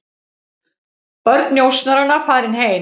Börn njósnaranna farin heim